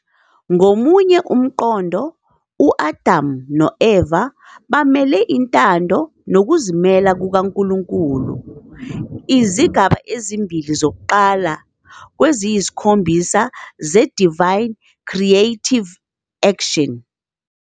Ngomunye umqondo, u-Adamu no-Eva bamele Intando Nokuzimisela KukaNkulunkulu, izigaba ezimbili zokuqala kweziyisikhombisa ze -Divine Creative Action.